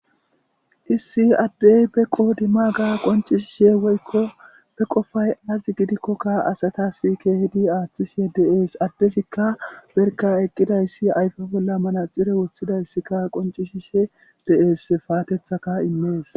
issi addey be qodima ga qoncishishe woykko be qofay az gidikkokka asatas keehidi aaththishe deees addezikka berka eqqidayssi ayfa bolla mana xire wothidayssikka qoncishishe de7es paatethaka immees